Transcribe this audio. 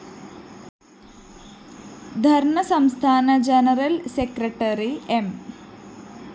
ധര്‍ണ്ണ സംസ്ഥാന general secretary M